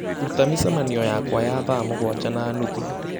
Ruta mĩcemanio yakwa ya thaa mũgwanja na nuthu